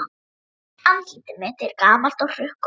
Andlit mitt er gamalt og hrukkótt.